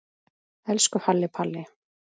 Elsku Halli Palli.